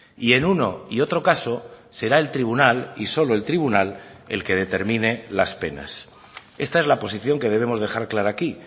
y en uno y otro caso será el tribunal y solo el tribunal el que determine las penas esta es la posición que debemos dejar clara aquí